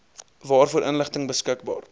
waarvoor inligting beskikbaar